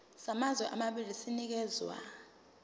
samazwe amabili sinikezwa